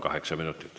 Kaheksa minutit.